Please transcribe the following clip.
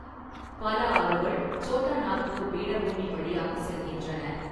பல ஆறுகள் சோட்டா நாக்பூர் பீடபூமி வழியாக செல்கின்றன.